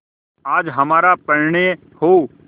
आज हमारा परिणय हो